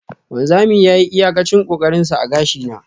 wanzami yayi iyakacin kokarinshi a gashi na.